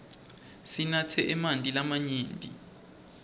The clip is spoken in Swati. sinatse emanti lamanyenti